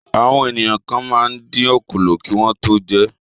Àwọn ènìyàn kan máa ń dín òkòló kí wọ́n tó jẹ ẹ́.